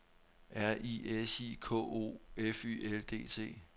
R I S I K O F Y L D T